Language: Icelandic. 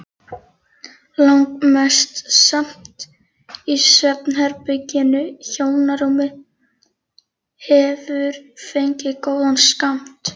Langmest samt í svefnherberginu, hjónarúmið hefur fengið góðan skammt.